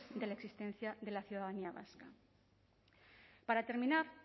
de la existencia de la ciudadanía vasca para terminar